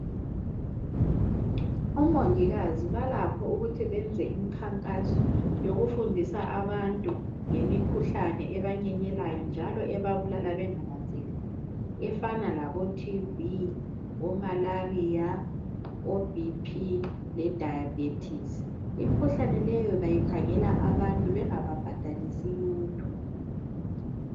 omongikazi balakho ukuthi benze imikhankaso yokufundisa abantu ngemikhuhlane ebanyenyelayo njalo ebabulala bengananzeleli efana labo TB, omalaria, o BP le dayabhethsii. Imikhuhlane leyo bayikhangela abantu beangayibhadalisi lutho.